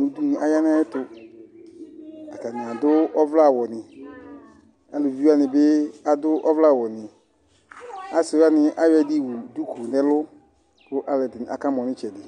nudunʊ aya nayɛtʊ Atanɩ adu ɔvlɛawʊnɩ Alʊvɩwanɩbi adʊ ɔvlɛawʊasɩwaniayɔ ɛdɩ ƴowʊ duku nelʊ, kʊ alʊɛdinɩ aka mɔ nɩtsɛdɩ